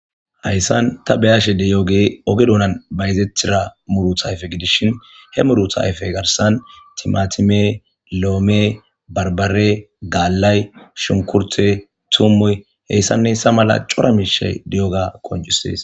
Haysan ta beyashe diyogey oge dunana bayzetida murta ayfe gidishn he muruta afey garsan timatime lome barbare galy shukurte tumoy hean hesa malatay cora mishay diyoga qoncises